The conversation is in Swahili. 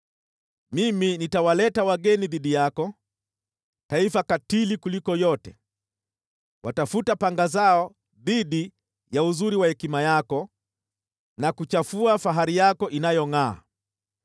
mimi nitawaleta wageni dhidi yako, taifa katili kuliko yote; watafuta panga zao dhidi ya uzuri wa hekima yako, na kuchafua fahari yako inayongʼaa.